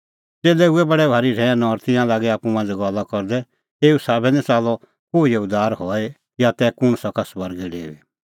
च़ेल्लै हुऐ बडै भारी रहैन और तिंयां लागै आप्पू मांझ़ै गल्ला करदै एऊ साबै निं च़ाल्लअ कोहिओ उद्धार हई या तै कुंण सका स्वर्गै डेऊई